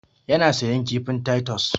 Ya na sayan kifin taitos.